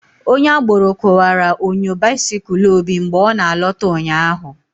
Onye agboro kuwara onyo bisikul Obi mgbe ọ na alota ụnyaahụ